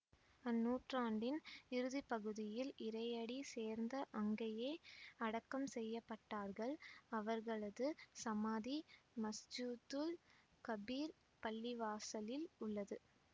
அந்நூற்றாண்டின் இறுதிப்பகுதியில் இறையடி சேர்ந்து அங்கேயே அடக்கம் செய்ய பட்டார்கள் அவர்களது சமாதி மஸ்ஜிதுல் கபீர் பள்ளிவாசலில் உள்ளது